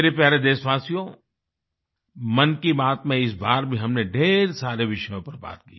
मेरे प्यारे देशवासियो मन की बात में इस बार भी हमने ढ़ेर सारे विषयों पर बात की